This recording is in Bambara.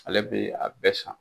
Ale bɛ a bɛɛ san